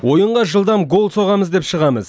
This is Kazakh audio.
ойынға жылдам гол соғамыз деп шығамыз